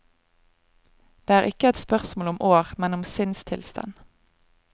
Det er ikke et spørsmål om år, men om sinnstilstand.